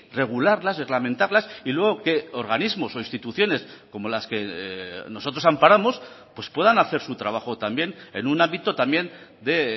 regularlas reglamentarlas y luego que organismos o instituciones como las que nosotros amparamos pues puedan hacer su trabajo también en un ámbito también de